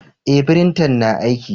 Eh, firintan na aiki.